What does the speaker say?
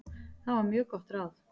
Það var mjög gott ráð.